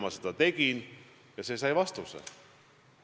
Ma seda tegin ja sain vastuse.